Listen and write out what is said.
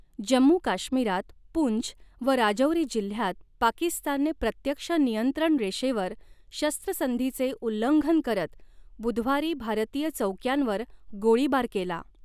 जम्मू काश्मिरात पूंछ व राजौरी जिल्ह्यात पाकिस्तानने प्रत्यक्ष नियंत्रण रेषेवर शस्त्रसंधीचे उल्लंघन करत बुधवारी भारतीय चाैक्यांवर गोळीबार केला.